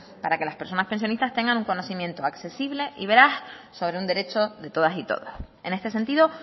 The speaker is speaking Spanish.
para que las personas pensionistas tengan un conocimiento accesible y veraz sobre un derecho de todas y todos en este sentido